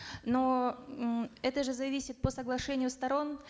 но м это же зависит по соглашению сторон